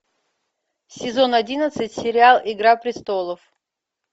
сезон одиннадцать сериал игра престолов